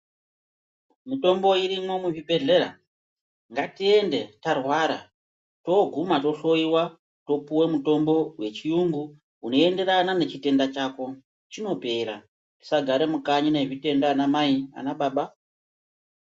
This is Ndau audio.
Mitombo irimwo muzvibhedhlera ngatiende tarwara toguma tohloiwa topuva mutombo vechiyungu unoenderana nechitenda chako chinopera. Musagare mukanyi nezvitenda anamai anababa.